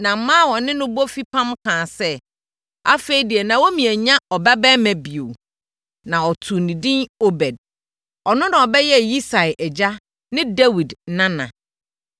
Na mmaa a wɔne no bɔ fipam kaa sɛ, “Afei deɛ Naomi anya ɔbabarima bio.” Na wɔtoo no din Obed. Ɔno na ɔbɛyɛɛ Yisai agya ne Dawid nana.